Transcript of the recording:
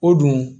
O dun